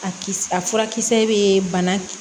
A kisɛ a furakisɛ bɛ bana